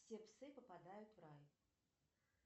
все псы попадают в рай